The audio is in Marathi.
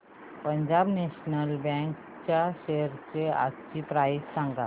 पंजाब नॅशनल बँक च्या शेअर्स आजची प्राइस सांगा